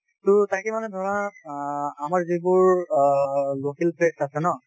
টো তাকে মানে ধৰা অ আমাৰ যিবোৰ অ local place আছে ন